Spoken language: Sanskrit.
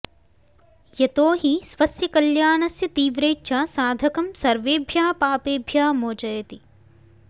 यतो हि स्वस्य कल्याणस्य तीव्रेच्छा साधकं सर्वेभ्यः पापेभ्यः मोचयति